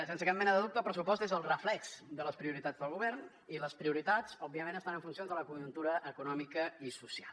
sense cap mena de dubte el pressupost és el reflex de les prioritats del govern i les prioritats òbviament estan en funcions de la conjuntura econòmica i social